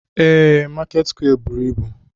Ee, Market square buru ibu.